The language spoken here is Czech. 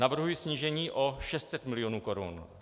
Navrhuji snížení o 600 mil. korun.